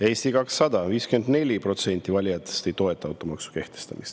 Eesti 200: 54% nende valijatest ei toeta automaksu kehtestamist.